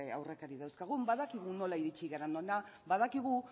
aurrekari dauzkagun badakigu nola iritsi garen hona badakigu